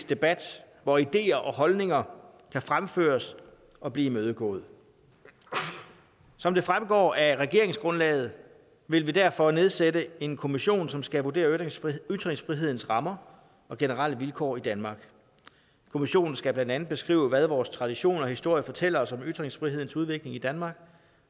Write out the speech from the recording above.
debat hvor ideer og holdninger kan fremføres og blive imødegået som det fremgår af regeringsgrundlaget vil vi derfor nedsætte en kommission som skal vurdere ytringsfrihedens rammer og generelle vilkår i danmark kommissionen skal blandt andet beskrive hvad vores tradition og historie fortæller os om ytringsfrihedens udvikling i danmark